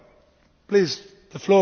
Frau Kollegin Lichtenberger!